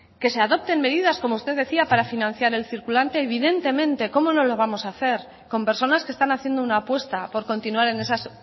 que se adopten medidas como usted decía para financiar el circulante evidentemente cómo no lo vamos a hacer con personas que están haciendo una apuesta por continuar en esas